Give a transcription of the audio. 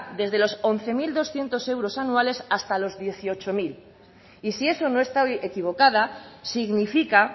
desde los once mil doscientos euros anuales hasta los dieciocho mil y si eso no estoy equivocada significa